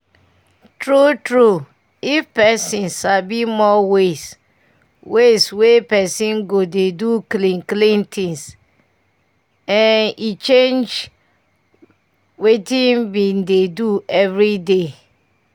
true true if pesin sabi more ways ways wey pesin go dey do clean clean things eh e change wetin i bin dey do everyday